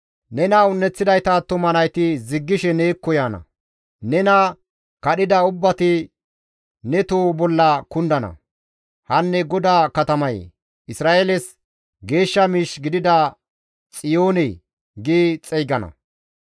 Nena un7eththidayta attuma nayti ziggishe neekko yaana; nena kadhida ubbati ne toho bolla kundana; ‹Hanne GODAA katamayee! Isra7eeles Geeshsha miish gidida Xiyoone› gi xeygana.